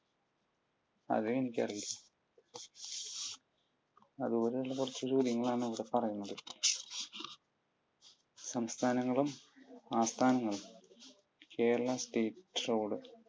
അതും എനിക്കറിയില്ല. അതുപോലുള്ള കുറച്ചു ചോദ്യങ്ങളാണ് ഇവിടെ പറയുന്നത്. സംസ്ഥാങ്ങളും ആസ്ഥാനങ്ങളും കേരളം state road